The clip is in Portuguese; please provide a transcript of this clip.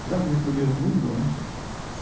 Fizemos o primeiro número, né?